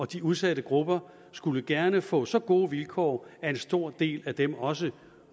de udsatte grupper skulle gerne få så gode vilkår at en stor del af dem også